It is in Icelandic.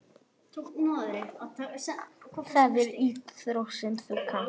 Það er íþrótt sem þú kannt.